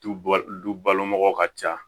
Du ba du du balo mɔgɔ ka ca